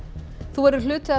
þú verður hluti af